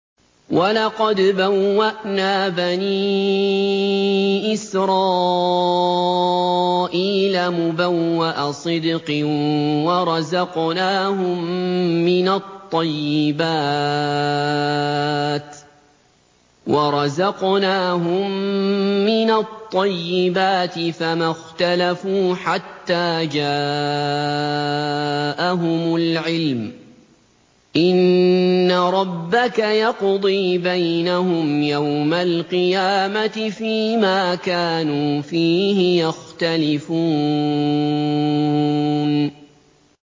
وَلَقَدْ بَوَّأْنَا بَنِي إِسْرَائِيلَ مُبَوَّأَ صِدْقٍ وَرَزَقْنَاهُم مِّنَ الطَّيِّبَاتِ فَمَا اخْتَلَفُوا حَتَّىٰ جَاءَهُمُ الْعِلْمُ ۚ إِنَّ رَبَّكَ يَقْضِي بَيْنَهُمْ يَوْمَ الْقِيَامَةِ فِيمَا كَانُوا فِيهِ يَخْتَلِفُونَ